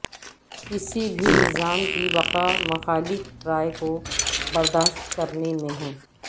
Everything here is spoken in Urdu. کسی بھی نظام کی بقاء مخالف رائے کو برداشت کرنے میں ہے